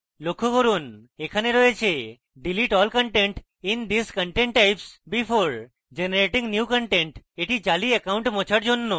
লক্ষ্য করুন এখানে delete all content in these content types before generating new content রয়েছে এটি জালি একাউন্ট মোছার জন্য